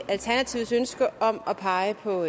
alternativets ønske om at pege på